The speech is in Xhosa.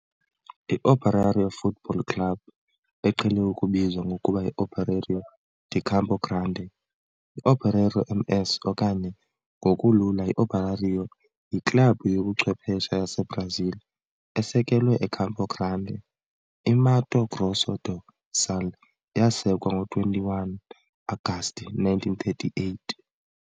I-Operário Futebol Clube, eqhele ukubizwa ngokuba yiOperário de Campo Grande, i-Operário-MS okanye ngokulula i-Operário yiklabhu yobuchwephesha yaseBrazil esekelwe eCampo Grande, i-Mato Grosso do Sul yasekwa ngo-21 Agasti 1938.